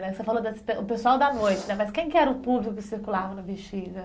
Né? Você falou das do pessoal da noite né, mas quem que era o público que circulava no Bexiga?